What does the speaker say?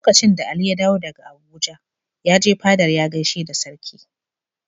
Lokacin da Ali ya dawo daga Abuja, ya je fadar ya gaishe da Sarki.